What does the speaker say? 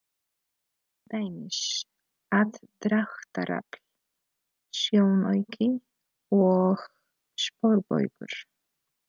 Til dæmis: aðdráttarafl, sjónauki og sporbaugur.